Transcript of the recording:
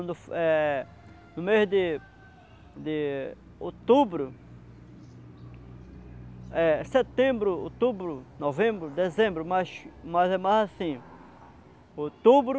é. No mês de de outubro, eh setembro, outubro, novembro, dezembro, mas mas é mais assim, outubro,